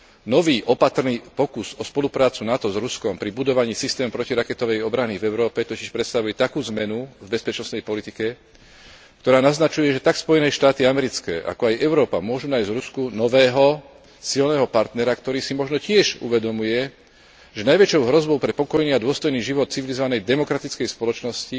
Nový opatrný pokus o spoluprácu NATO s Ruskom pri budovaní systému protiraketovej obrany v Európe totiž predstavuje takú zmenu v bezpečnostnej politike, ktorá naznačuje, že tak Spojené štáty americké, ako aj Európa môžu nájsť v Rusku nového silného partnera, ktorý si možno tiež uvedomuje, že najväčšou hrozbou pre pokojný a dôstojný život civilizovanej demokratickej spoločnosti